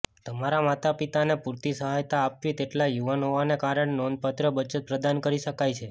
તમારા માતાપિતાને પૂરતી સહાયતા આપવી તેટલા યુવાન હોવાને કારણે નોંધપાત્ર બચત પ્રદાન કરી શકાય છે